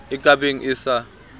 e ka beng e sa